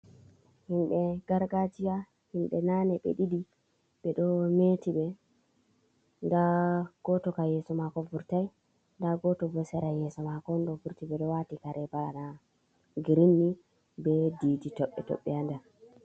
Himɓɓe gargajiya himɓɓe nane ɓe ɗiɗi ɓe ɗo meti be nda goto ka yeso mako vurtai nda goto bo sera yeso mako on ɗo vurti ɓeɗo wati kare bana girin ni be ɗiɗi tobbe tobbe ha nder.